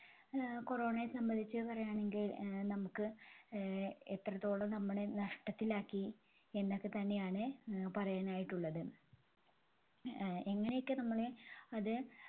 ആഹ് Corona യെ സംബന്ധിച്ച് പറയാണെങ്കിൽ ആഹ് നമുക്ക് ആഹ് എത്രത്തോളം നമ്മളെ നഷ്ടത്തിലാക്കി എന്നൊക്കെത്തന്നെയാണ് ആഹ് പറയാനായിട്ടുള്ളത്. ആഹ് എങ്ങനെയൊക്കെ നമ്മളെ അത്